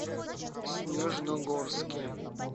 снежногорске